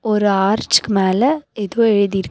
ஒரு ஆர்ச்க்கு மேல எதோ எழுதி இருக்--